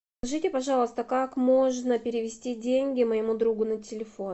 скажите пожалуйста как можно перевести деньги моему другу на телефон